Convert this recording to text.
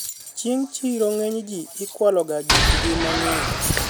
chieng' siro ng'eny ji ikwalo ga gik gi mang'eny